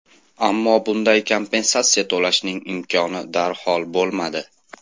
Ammo bunday kompensatsiya to‘lashning imkoni darhol bo‘lmadi.